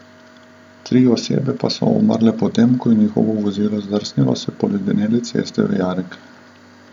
Tri osebe pa so umrle potem, ko je njihovo vozilo zdrsnilo s poledenele ceste v jarek.